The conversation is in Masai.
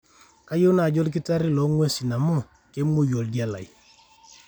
kayieu naaji olkitarri loo nguesi amu kemuoi oldia lai